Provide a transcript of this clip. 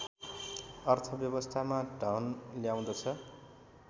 अर्थव्यवस्थामा धन ल्याउँदछ